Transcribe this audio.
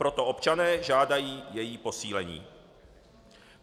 Proto občané žádají její posílení.